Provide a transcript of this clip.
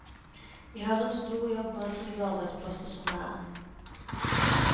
Vi har en stor jobb med å trygge arbeidsplasser som det er.